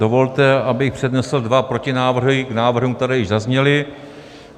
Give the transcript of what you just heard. Dovolte, abych přednesl dva protinávrhy k návrhům, které již zazněly.